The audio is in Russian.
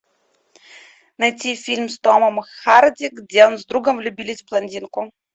найти фильм с томом харди где он с другом влюбились в блондинку